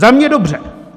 Za mě dobře.